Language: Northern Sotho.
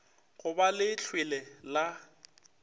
go ba le lehlwele la